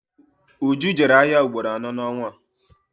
Uju jere ahịa ugboro anọ n'ọnwa a